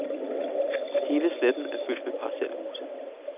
Hele sletten er fyldt med parcelhuse.